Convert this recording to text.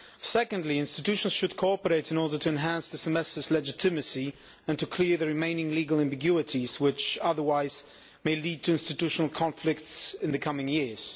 Secondly, institutions should cooperate in order to enhance the Semester's legitimacy and to clear the remaining legal ambiguities which otherwise may lead to institutional conflicts in the coming years.